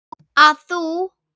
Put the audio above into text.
að þú.